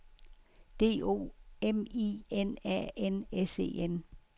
D O M I N A N S E N